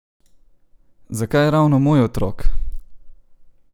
Zakaj ravno moj otrok?